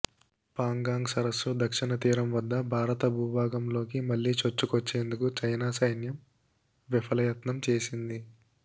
పాంగాంగ్ సరస్సు దక్షిణ తీరం వద్ద భారత భూభాగంలోకి మళ్లీ చొచ్చుకొచ్చేందుకు చైనా సైన్యం విఫలయత్నం చేసింది